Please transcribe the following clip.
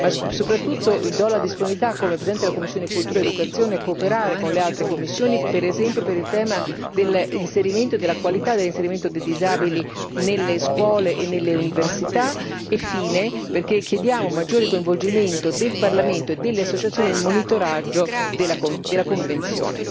Ma soprattutto do la disponibilità come presidente della commissione per la cultura e l'istruzione a cooperare con le altre commissioni, per esempio sul tema dell'inserimento della qualità, dell'inserimento dei disabili nelle scuole e nelle università. Infine chiediamo un maggiore coinvolgimento del Parlamento e delle associazioni nel monitoraggio della Convenzione.